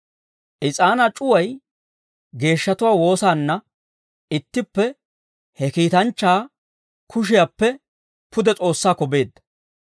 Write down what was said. Is'aanaa c'uway geeshshatuwaa woosaanna ittippe he kiitanchchaa kushiyaappe pude S'oossaakko beedda.